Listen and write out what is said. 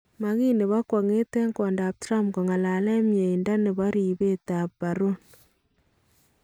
Ma kiit nebo kwong'et en kwondap Trump kokalaan myeindo nebo ribeet ab Barron